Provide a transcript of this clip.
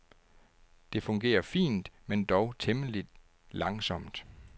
Det fungerer fint men dog temmelig langsomt.